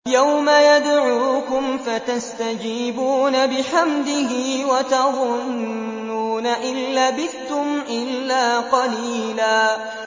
يَوْمَ يَدْعُوكُمْ فَتَسْتَجِيبُونَ بِحَمْدِهِ وَتَظُنُّونَ إِن لَّبِثْتُمْ إِلَّا قَلِيلًا